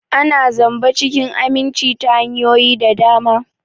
Ana zamba cikin aminci ta hanyoyi da dama.